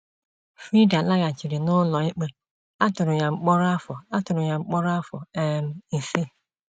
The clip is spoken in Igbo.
Frieda laghachiri n'ụlọ ikpe, a tụrụ ya mkpọrọ afọ ya mkpọrọ afọ um isii.